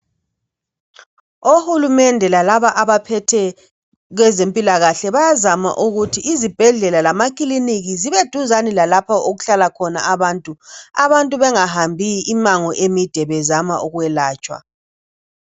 OHulumende lalaba abaphetheyo kwezempilakahle bayazama ukuthi iZibhedlela lamaKiliniki zibeseduze lalapho okuhlala khona abantu. Abantu bengahambi imango emide bezama ukwelatshwa.